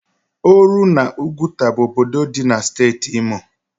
Oru na Oguta bu obodo di na steeti Imo